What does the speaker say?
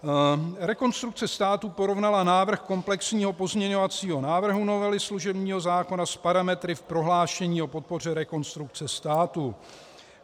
Rekonstrukce státu porovnala návrh komplexního pozměňovacího návrhu novely služebního zákona s parametry v prohlášení o podpoře Rekonstrukce státu.